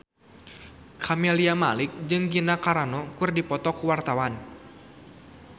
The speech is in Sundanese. Camelia Malik jeung Gina Carano keur dipoto ku wartawan